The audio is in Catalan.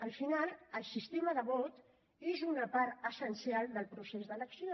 al final el sistema de vot és una part essencial del procés d’elecció